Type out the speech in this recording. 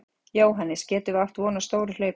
Jóhannes: Getum við átt von á stóru hlaupi?